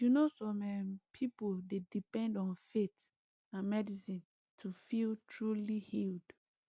you know some um people dey depend on faith and medicine to feel truly healed